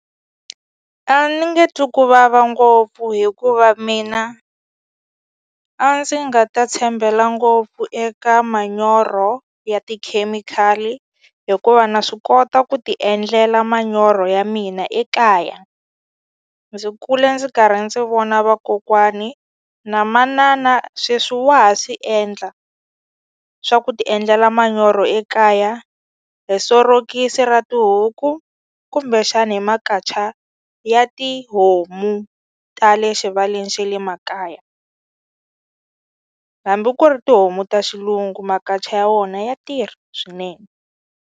A ni nge twi ku vava ngopfu hikuva mina a ndzi nga ta tshembela ngopfu eka manyoro ya tikhemikhali hikuva na swi kota ku ti endlela manyoro ya mina ekaya ndzi kule ndzi karhi ndzi vona vakokwani na manana sweswi wa ha swi endla swa ku ti endlela manyoro ekaya hi sorokisi ra tihuku kumbexani hi makacha ya tihomu ta le xivaleni xe le makaya hambi ku ri tihomu ta xilungu makacha ya wona ya tirha swinene.